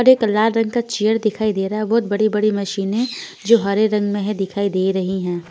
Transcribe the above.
और एक लाल रंग का चेयर दिखाई दे रहा हे बहोत बड़ी-बड़ी मशीनें जो हरे रंग में है दिखाई दे रही हैं।